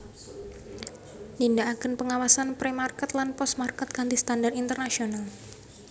Nindakaken pengawasan Pre Market lan Post Market kanthi standar internasional